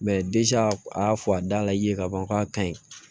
a y'a fɔ a da la i ye ka ban k'a kaɲi